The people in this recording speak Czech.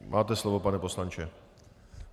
Máte slovo, pane poslanče.